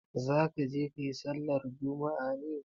Za ka je ka yi sallar juma'a ne?